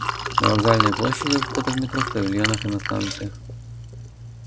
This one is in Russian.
на вокзальной площади у входа в метро в павильонах и на станциях